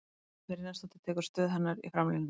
Dagný Brynjarsdóttir tekur stöðu hennar í framlínunni.